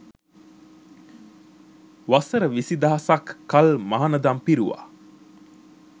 වසර විසි දහසක් කල් මහණදම් පිරුවා